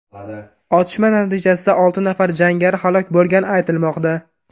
Otishma natijasida olti nafar jangari halok bo‘lgani aytilmoqda.